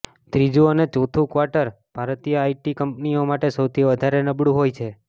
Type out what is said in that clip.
ત્રીજું અને ચોથું ક્વાર્ટર ભારતીય આઇટી કંપનીઓ માટે સૌથી વધારે નબળું હોય છે